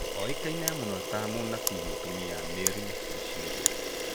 Oĩkaine mũno ta mũnabii mũtumia Mary Bushiri